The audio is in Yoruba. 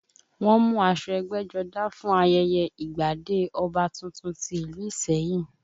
Wọ́n mú aṣọ ẹgbẹ́jọdá fún ayẹyẹ ìgbadé ọba tuntun ti ìlú ìsẹ́yìn